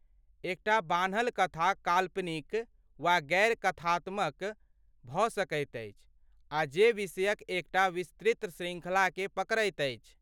एकटा बान्हल कथा काल्पनिक वा गैर कथात्मक भऽ सकैत अछि आ जे विषयक एकटा विस्तृत शृङ्खलाकेँ पकड़ैत अछि।